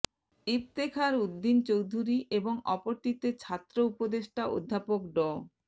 ইফতেখার উদ্দিন চৌধুরী এবং অপরটিতে ছাত্র উপদেষ্টা অধ্যাপক ড